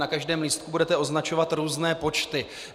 Na každém lístku budete označovat různé počty.